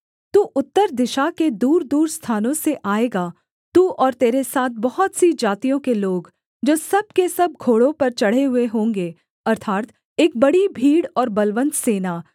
तू उत्तर दिशा के दूरदूर स्थानों से आएगा तू और तेरे साथ बहुत सी जातियों के लोग जो सब के सब घोड़ों पर चढ़े हुए होंगे अर्थात् एक बड़ी भीड़ और बलवन्त सेना